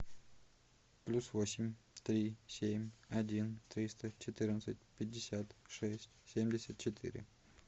плюс восемь три семь один триста четырнадцать пятьдесят шесть семьдесят четыре